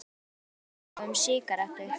Hann vildi ekki biðja þá um sígarettu.